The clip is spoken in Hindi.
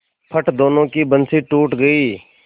फट दोनों की बंसीे टूट गयीं